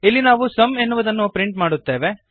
ಇಲ್ಲಿ ನಾವು ಸುಮ್ ಎನ್ನುವುದನ್ನು ಪ್ರಿಂಟ್ ಮಾಡುತ್ತೇವೆ